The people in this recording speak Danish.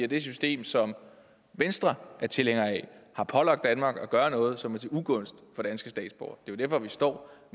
det system som venstre er tilhænger af har pålagt danmark at gøre noget som er til ugunst for danske statsborgere det er derfor vi står